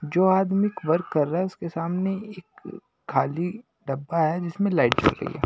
जो आदमी एकवर्क कर रहा है उसके सामने एक खालीडब्बा है जिसमें लाइट चल रही है।